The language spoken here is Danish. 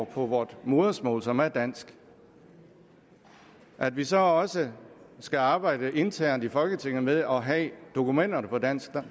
på vort modersmål som er dansk at vi så også skal arbejde internt i folketinget med at have dokumenterne på dansk